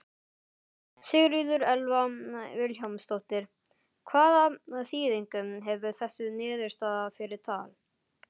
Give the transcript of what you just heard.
Sigríður Elva Vilhjálmsdóttir: Hvaða þýðingu hefur þessi niðurstaða fyrir Tal?